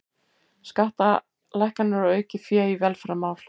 Skattalækkanir og aukið fé í velferðarmál